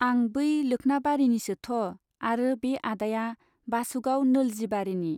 आं बै लोख्नाबारिनिसोथ' आरो बे आदाया बासुगाव नोलजिबारीनि।